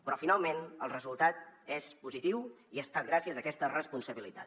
però finalment el resultat és positiu i ha estat gràcies a aquesta responsabilitat